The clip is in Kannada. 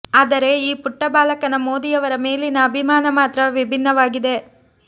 ಆದರೆ ಈ ಪುಟ್ಟ ಬಾಲಕನ ಮೋದಿಯವರ ಮೇಲಿನ ಅಭಿಮಾನ ಮಾತ್ರ ವಿಭಿನ್ನವಾಗಿದೆ